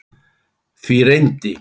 Því reyndi